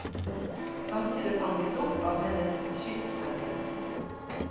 Kanskje det fanges opp av hennes skytshelgen.